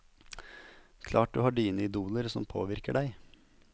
Klart du har dine idoler som påvirker deg.